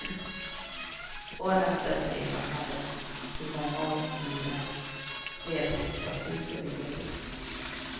Åren dessförinnan hade ju många och dyra flerbostadshus och villor byggts.